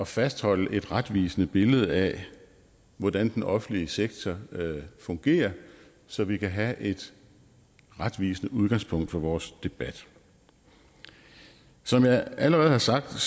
fastholde et retvisende billede af hvordan den offentlige sektor fungerer så vi kan have et retvisende udgangspunkt for vores debat som jeg allerede har sagt